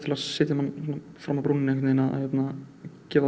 að setja mann fram af brúninni að gefa það